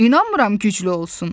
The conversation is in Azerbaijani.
İnanmıram güclü olsun.